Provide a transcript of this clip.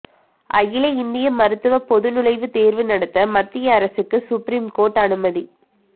அகில இந்திய மருத்துவ பொதுநுழைவுத் தேர்வு நடத்த மத்திய அரசுக்கு சுப்ரீம் கோர்ட் அனுமதி